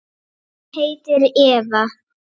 Hún heitir Eva.